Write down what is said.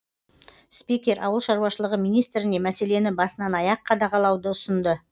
спикер ауыл шаруашылығы министріне мәселені басынан аяқ қадағалауды ұсынды